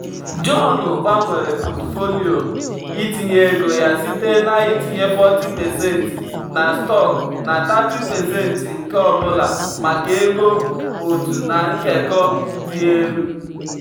john gbanwere pọtụfoliyo itinye ego ya site na-itinye 40% na stọkụ na 30% nke ọ bụla maka ego otu na nkekọ dị elu.